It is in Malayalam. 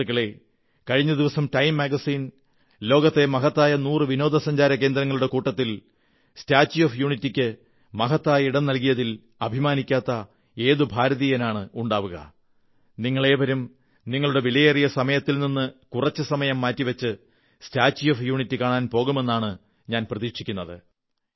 സുഹൃത്തുക്കളേ കഴിഞ്ഞ ദിവസം ടൈം മാഗസിൻ ലോകത്തിലെ മഹത്തായ 100 വിനോദസഞ്ചാരകേന്ദ്രങ്ങളുടെ കൂട്ടത്തിൽ സ്റ്റാച്യൂ ഓഫ് യൂണിറ്റിക്ക് മഹത്തായ ഇടം നല്കിയതിൽ അഭിമാനിക്കാത്ത ഏതു ഭാരതീയനാണുണ്ടാവുക നിങ്ങളേവരും നിങ്ങളുടെ വിലയേറിയ സമയത്തിൽ നിന്ന് കുറച്ച് സമയം മാറ്റി വച്ച് സ്റ്റാച്യൂ ഓഫ് യൂണിറ്റി കാണാൻ പോകുമെനനാണ് ഞാൻ പ്രതീക്ഷിക്കുന്നത്